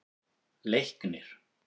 Leiknir